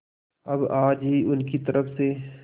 अब आज ही उनकी तरफ से